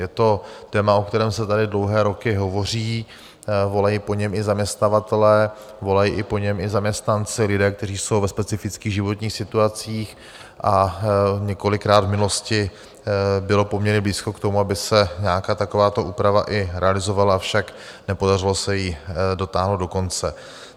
Je to téma, o kterém se tady dlouhé roky hovoří, volají po něm i zaměstnavatelé, volají po něm i zaměstnanci, lidé, kteří jsou ve specifických životních situacích, a několikrát v minulosti bylo poměrně blízko k tomu, aby se nějaká takováto úprava i realizovala, avšak nepodařilo se ji dotáhnout do konce.